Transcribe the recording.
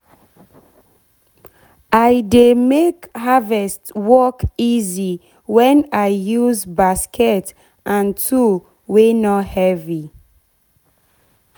i dey make harvest work easy wen i use basket and tool wey nor heavy